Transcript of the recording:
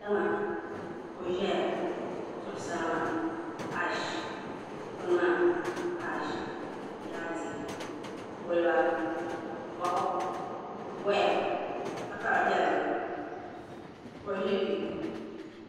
tiŋa kuɣu ʒɛya di zuɣusaa maa ash dikpuni maa ash laati kɔlba voɣu woya takara bɛ dinni kuɣu ʒɛ kpɛ